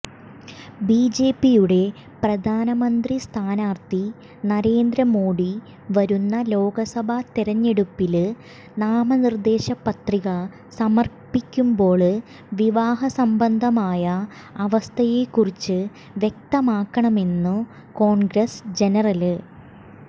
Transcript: ബിജെപിയുടെ പ്രധാനമന്ത്രിസ്ഥാനാര്ഥി നരേന്ദ്ര മോഡി വരുന്ന ലോക്സഭാ തെരഞ്ഞെടുപ്പില് നാമനിര്ദേശ പത്രിക സമര്പ്പിക്കുമ്പോള് വിവാഹസംബന്ധമായ അവസ്ഥയെക്കുറിച്ച് വ്യക്തമാക്കണമെന്നു കോണ്ഗ്രസ് ജനറല്